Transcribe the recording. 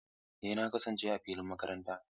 Eh, na kasance a filin makaranta.